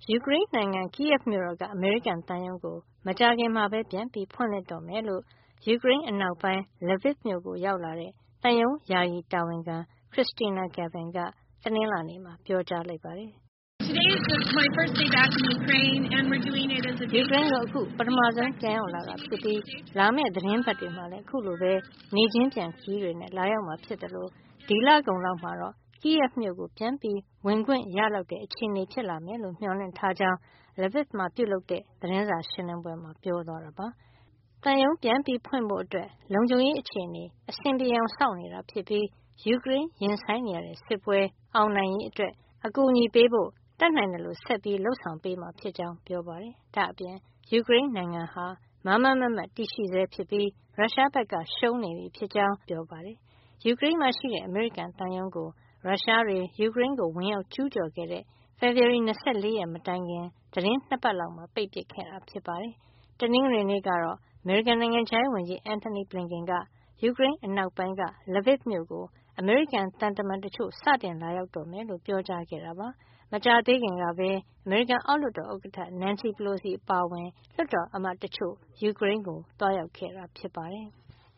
ယူကရိန်းနိုင်ငံ Kyiv မြို့တော်က အမေရိကန်သံရုံးကို မကြာခင်မှာပဲ ပြန်လည်ဖွင့်လှစ်တော့မှာ ဖြစ်ကြောင်း ယူကရိန်းအနောက်ပိုင်း Lviv မြို့ကို ရောက်လာတဲ့ သံရုံးယာယီတာဝန်ခံ Kristina Kvien က တနင်္လာနေ့မှာ ပြောကြားလိုက်ပါတယ်။ ယူကရိန်းကို အခု ပထမဆုံး ပြန်ရောက်လာတာ ဖြစ်ပြီး လာမယ့် သီတင်းပတ်တွေမှာလည်း အခုလိုပဲ နေ့ချင်းပြန်ခရီးတွေ လာရောက်မှာ ဖြစ်သလို ဒီလကုန်လောက်မှာတော့ Kyiv မြို့ကို ပြန်ဝင်ခွင့်ရလောက် တဲ့ အခြေနေတွေ ဖြစ်လာမယ်လို့ မျှော်လင့်ထားကြောင်း Lviv မှာ ပြုလုပ်တဲ့ သတင်းစာရှင်းလင်းပွဲမှာ ပြောသွားတာပါ။ သံရုံးပြန်ဖွင့်ဖို့ လုံခြုံရေး အခြေနေ အဆင်ပြေအောင် စောင့်နေတာ ဖြစ်ပြီး ယူကရိန်းရင်ဆိုင်နေရတဲ့ စစ်ပွဲ အောင်နိုင်ရေး အတွက် အကူညီပေးဖို့ တတ်နိုင်သလို ဆက်ပြီး လုပ်ဆောင်ပေးမှာ ဖြစ်ကြောင်းပြောပါတယ်။ ဒါ့အပြင် ယူကရိန်းနိုင်ငံဟာ မားမားမတ်မတ် တည်ရှိဆဲ ဖြစ်ပြီး ရုရှားဘက်က ရှုံးနေပြီဖြစ်ကြောင်း ရုရှားအစိုးရကို ပါ သတင်းစကားပါး ချင်ကြောင်းလည်း ပြောပါတယ်။ ယူကရိန်းမှာရှိတဲ့ အမေရိကန်သံရုံးကို ရုရှားတွေ ယူကရိန်းကို ဝင်ကျူးကျော်တဲ့ ဖေဖေါ်ဝါရီ ၂၄ ရက် မတိုင်ခင် သီတင်း ၂ ပတ်လောက်မှာ ပိတ်ပစ်ခဲ့တာ ဖြစ်ပါတယ်။ တနင်္ဂနွေနေ့ကတော့ အမေရိကန် နိုင်ငံခြားရေးဝန်ကြီး Antony Blinken က ယူကရိန်းအနောက်ပိုင်းက Lviv မြို့ကို အမေရိကန်သံတမန်တချို့ စတင်လာရောက်တော့မှာ ဖြစ်ကြောင်း ပြောခဲ့တာပါ။ မကြာသေးခင်ကပဲ အမေရိကန်အောက်လွှတ်တော် ဥက္ကဌ Nancy Pelosi အပါအဝင် လွှတ်တော်အမတ်တချို့ ယူကရိန်းကို သွားရောက်ခဲ့တာ ဖြစ်ပါတယ်။